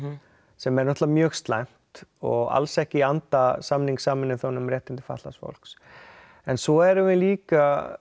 sem er náttúrulega mjög slæmt og alls ekki í anda samning Sameinuðu þjóðanna um réttindi fatlaðs fólks en svo erum við líka